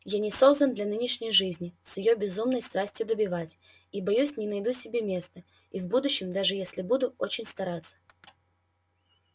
я не создан для нынешней жизни с её безумной страстью добивать и боюсь не найду себе места и в будущем даже если буду очень стараться